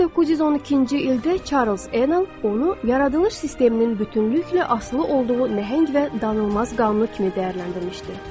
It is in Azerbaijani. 1912-ci ildə Charles Enel onu yaradılış sisteminin bütünlüklə asılı olduğu nəhəng və danılmaz qanunu kimi dəyərləndirmişdir.